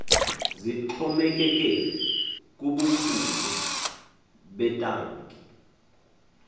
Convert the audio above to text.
zixhomekeke kubukhulu betanki